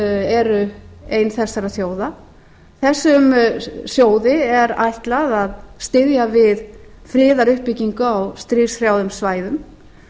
eru ein þessara þjóða þessum sjóði er ætlað styðja við friðaruppbyggingu á stríðshrjáðum svæðum